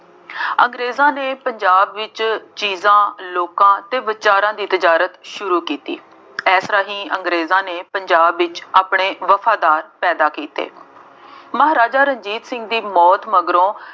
ਅੰਗਰੇਜ਼ਾਂ ਨੇ ਪੰਜਾਬ ਵਿੱਚ ਚੀਜ਼ਾਂ, ਲੋਕਾਂ ਅਤੇ ਵਿਚਾਰਾਂ ਦੀ ਤੇਜ਼ਾਰਤ ਸ਼ੁਰੂ ਕੀਤੀ। ਇਸ ਰਾਹੀਂ ਅੰਗਰੇਜ਼ਾਂ ਨੇ ਪੰਜਾਬ ਵਿੱਚ ਆਪਣੇ ਵਫਾਦਾਰ ਪੈਦਾ ਕੀਤੇ। ਮਹਾਰਾਜਾ ਰਣਜੀਤ ਸਿੰਘ ਦੀ ਮੌਤ ਮਗਰੋਂ